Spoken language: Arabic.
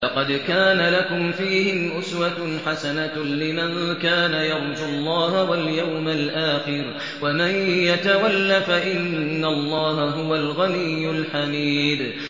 لَقَدْ كَانَ لَكُمْ فِيهِمْ أُسْوَةٌ حَسَنَةٌ لِّمَن كَانَ يَرْجُو اللَّهَ وَالْيَوْمَ الْآخِرَ ۚ وَمَن يَتَوَلَّ فَإِنَّ اللَّهَ هُوَ الْغَنِيُّ الْحَمِيدُ